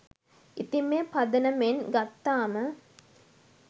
ඉතිං මේ පදනමෙන් ගත්තාම